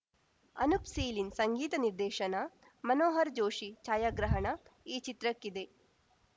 ಅನೂಪ್‌ ಸೀಳಿನ್‌ ಸಂಗೀತ ನಿರ್ದೇಶನ ಮನೋಹರ್‌ ಜೋಷಿ ಛಾಯಾಗ್ರಹಣ ಈ ಚಿತ್ರಕ್ಕಿದೆ